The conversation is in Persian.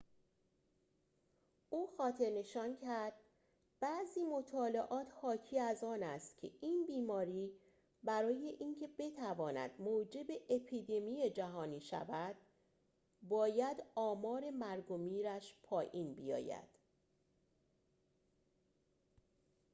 او خاطرنشان کرد بعضی مطالعات حاکی از آن است که این بیماری برای اینکه بتواند موجب اپیدمی جهانی شود باید آمار مرگ و میرش پایین بیاید